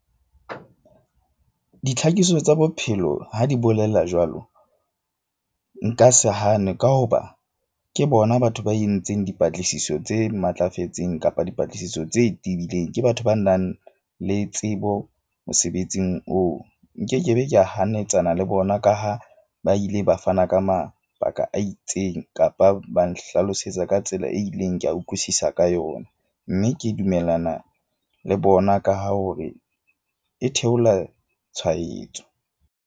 Ditlhakisetso tsa bophelo ha di bolela jwalo. Nka se hane ka hoba ke bona batho ba entseng dipatlisiso tse matlafetseng kapa dipatlisiso tse tebileng. Ke batho ba nang le tsebo mosebetsing oo. Nkekebe ka hanyetsana le bona ka ha ba ile ba fana ka mabaka a itseng kapa ba nhlalosetsa ka tsela e ileng, ke a utlwisisa ka yona. Mme ke dumellana le bona ka ha hore e theola tshwaetso.